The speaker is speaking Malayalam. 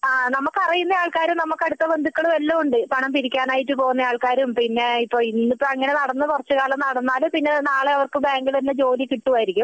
ആഹ് നമ്മക്ക് അറിയുന്ന ആൾക്കാർ നമ്മക്ക് അടുത്ത ബന്ധുക്കള് എല്ലാം ഉണ്ട് പണം പിരിക്കാനായിട്ടു പോകുന്ന ആൾക്കാരും ഇന്ന് ഇപ്പൊ അങ്ങനെ നടന്നു നാളെ അവര്ക്ക് ബാങ്കിൽ തന്നെ ജോലി കിട്ടുമായിരിക്കും